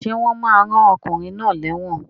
Sé wón ma rán okùnrin náà léwòn